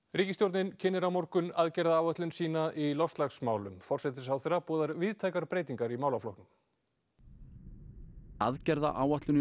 ríkisstjórnin kynnir á morgun aðgerðaáætlun sína í loftslagsmálum forsætisráðherra boðar víðtækar breytingar í málaflokknum aðgerðaáætlun í